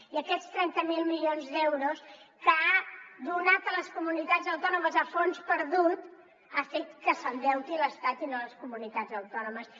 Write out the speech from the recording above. i aquests trenta miler milions d’euros que ha donat a les comunitats autònomes a fons perdut han fet que s’endeuti l’estat i no les comunitats autònomes